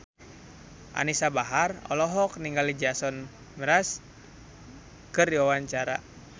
Anisa Bahar olohok ningali Jason Mraz keur diwawancara